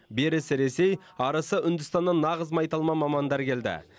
берісі ресей арысы үндістаннан нағыз майталман мамандар келді